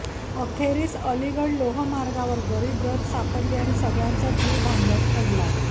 अखेरीस अलीगढ लोहमार्गावर गरीब रथ सापडली आणि सगळ्यांचाच जीव भांड्यात पडला